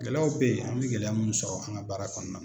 Gɛlɛyaw bɛ yen, an bɛ gɛlɛya minnu sɔrɔ an ka baara kɔnɔna na.